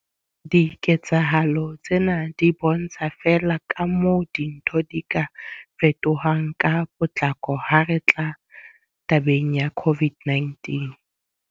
Diketsahalo tsena di bontsha feela kamoo dintho di ka fetohang ka potlako ha re tla tabeng ya COVID-19.